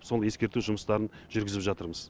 сол ескерту жұмыстарын жүргізіп жатырмыз